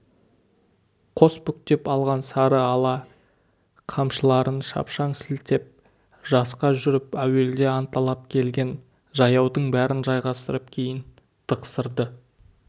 қос бүктеп алған сары ала қамшыларын шапшаң сілтеп жасқап жүріп әуелде анталап келген жаяудың бәрін жайғастырып кейін тықсырды